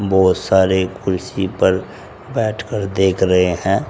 बहुत सारे कुर्सी पर बैठकर देख रहे हैं।